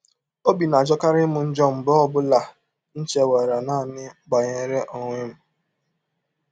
“ Ọbi na - ajọkarị m njọ mgbe ọ bụla m chewere naanị banyere ọnwe m.